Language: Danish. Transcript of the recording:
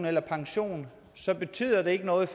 eller pension så betyder det ikke noget i